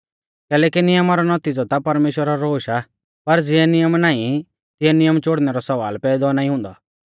कैलैकि नियमा रौ नौतिज़ौ ता परमेश्‍वरा रौ रोश आ पर ज़िऐ नियम नाईं तिऐ नियम चोड़नै रौ सवाल पैदौ नाईं हुन्दौ